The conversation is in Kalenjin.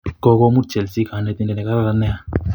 Kokomut chelsea kanetindet ne kararan nea